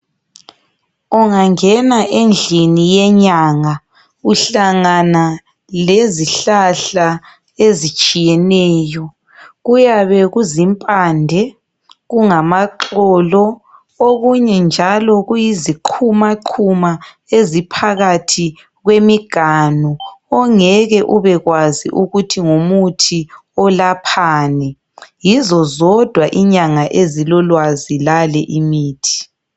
Ungangena endlini yenyanga uhlangana lezihlahla ezitshiyeneyo. Kuyabe kuzimpande, kungamaxolo. Okunye njalo kuyizi qhumaqhuma eziphakathi kwemiganu. Ongeke ubekwazi ukuthi ngumuthi olaphani. Yizo zodwa inyanga ezilolwazi lale imithi.